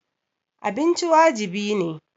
Abinci wajibi ne.